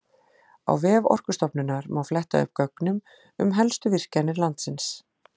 Á vef Orkustofnunar má fletta upp gögnum um helstu virkjanir landsins.